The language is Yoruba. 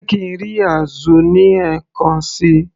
jẹ́ kí ń rí azu ní ẹ̀kan síi